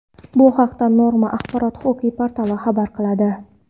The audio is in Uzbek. Bu haqda Norma Axborot-huquqiy portali xabar qiladi .